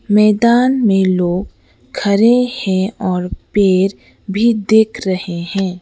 मैदान में लोग खड़े हैं और पेर भी दिख रहे हैं।